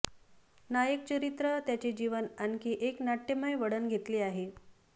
नायक चरित्र त्याचे जीवन आणखी एक नाट्यमय वळण घेतले आहे